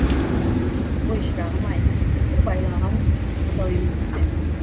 ой шырағым ай біз бір байлаған бұзау емеспіз бе